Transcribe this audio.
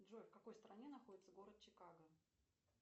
джой в какой стране находится город чикаго